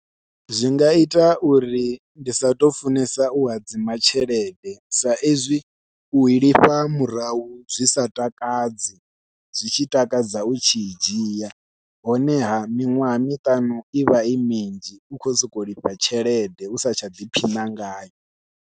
Zwi nga ita uri ndi sa tou funesa u hadzima tshelede sa izwi ui lifha murahu zwi sa takadzi, zwi tshi takadza u tshi i dzhia honeha miṅwaha miṱanu i vha i minzhi u khou sokou lifha tshelede u sa tsha ḓiphina ngayo.